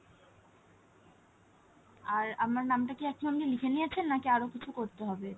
আর আমার নামটা কি আপনি লিখে নিয়ছেন? নাকি আরো কিছু করতে হবে এটা?